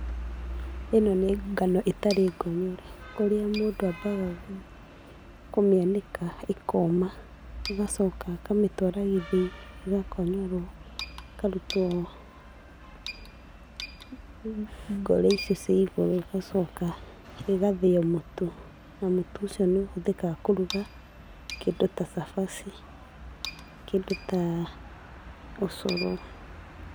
Ĩno nĩ ngano ĩtarĩ ngonyore. Kũrĩa mũndũ ambaga kũmĩanĩka ĩkoma ũgacoka akamĩtwara gĩthĩi ĩgakonyorwo, ĩkarutwo, ngoro icio cia igũrũ ĩgacoka igathĩo mũtu, na mũtu ũcio nĩ ũhũthĩkaga kũruga kĩndũ ta cabaci, kĩndũ ta , ũcũrũ.